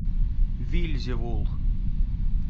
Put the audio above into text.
вельзевул